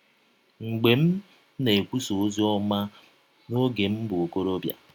Mgbe m na - ekwụsa ọzi ọma n’ọge m bụ ọkọrọbịa